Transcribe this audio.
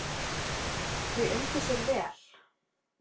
Þau undu sér vel.